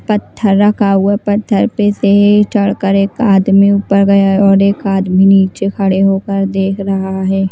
पत्थर रखा हुआ पत्थर पे से ही चढ़कर एक आदमी ऊपर गया और एक आदमी नीचे खड़े होकर देख रहा है।